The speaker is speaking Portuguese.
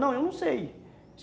Não, eu não sei.